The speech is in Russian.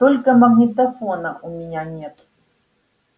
только магнитофона у меня нет